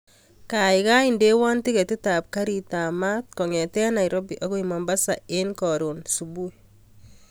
Kaikai indewon tiketit ab garit ab maat kongeten nairobi akoi mombasa en korun subui